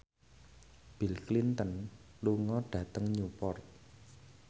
Bill Clinton lunga dhateng Newport